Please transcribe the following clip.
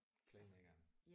Playmakeren?